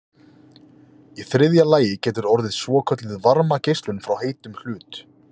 í þriðja lagi getur orðið svokölluð varmageislun frá heitum hlut